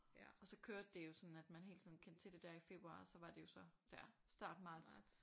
Og så kørte det jo sådan at man hele tiden kendte til det der i februar og så var det jo så der start marts